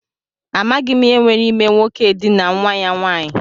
Amaghị m ihe nwere ime nwoke edinaa nwa ya nwanyị.